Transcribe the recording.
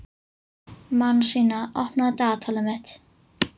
Manasína, opnaðu dagatalið mitt.